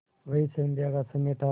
वही संध्या का समय था